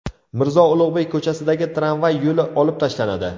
Mirzo Ulug‘bek ko‘chasidagi tramvay yo‘li olib tashlanadi.